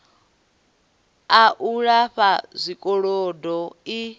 a u lifha zwikolodo i